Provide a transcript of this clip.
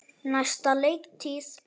Næsta leiktíð?